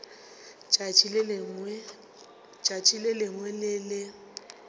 tšatši le lengwe le le